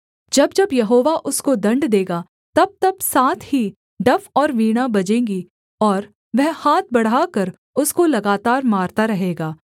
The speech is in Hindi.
जब जब यहोवा उसको दण्ड देगा तबतब साथ ही डफ और वीणा बजेंगी और वह हाथ बढ़ाकर उसको लगातार मारता रहेगा